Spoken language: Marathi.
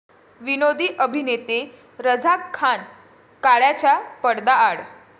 विनोदी अभिनेते रझाक खान काळाच्या पडद्याआड